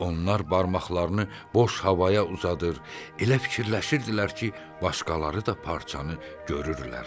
Onlar barmaqlarını boş havaya uzadır, elə fikirləşirdilər ki, başqaları da parçanı görürlər.